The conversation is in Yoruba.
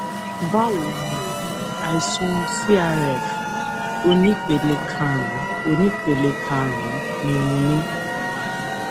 báwo ni o àìsàn crf onípele karùnún onípele karùnún ni mo ní